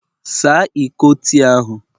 Saa Iko tii ahụ!